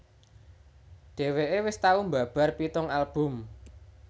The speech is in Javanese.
Dhèwèké wis tau mbabar pitung album